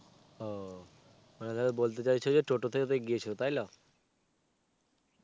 ও. মানে তাহলে বলতে চাইছো যে টোটোতেই গিয়েছিলো. টাইলো?